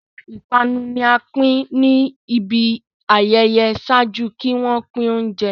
Awọn ipanu ni a pin ni ibi ayẹyẹ ṣaaju ki wọn pin ounjẹ